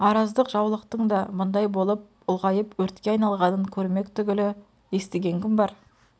араздық жаулықтың да бұндай болып ұлғайып өртке айналғанын көрмек түгілі естіген кім бар